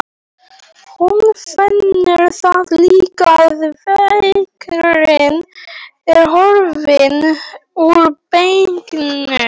Hún finnur þá líka að verkurinn er horfinn úr bakinu.